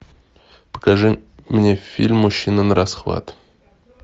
покажи мне фильм мужчина нарасхват